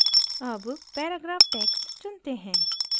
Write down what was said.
अब paragraph text चुनते हैं